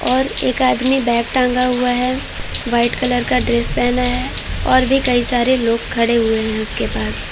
और एक आदमी बैग टांगा हुआ है। व्हाइट कलर का ड्रेस पहना है और भी कई सारे लोग खड़े हुए हैं उसके पास |